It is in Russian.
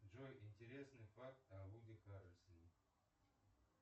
джой интересный факт о вуди харрельсоне